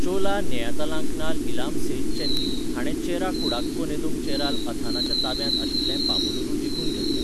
चोला नेयतालांकनाल इलाम सेत चेन्नी हाणे चेरा कुडाक्को नेदुम चेराल अथानाच्या ताब्यांत आशिल्लें पामुलुरू जिखून घेतलें.